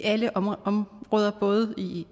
alle områder både